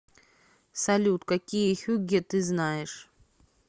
салют какие хюгге ты знаешь